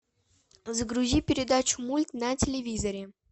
загрузи передачу мульт на телевизоре